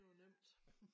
Det var nemt